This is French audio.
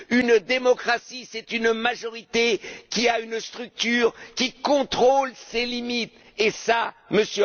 Une démocratie, c'est une majorité qui a une structure, qui contrôle ses limites, et cela, M.